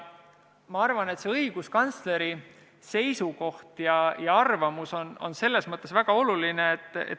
Ma arvan, et õiguskantsleri seisukoht ja arvamus on väga oluline.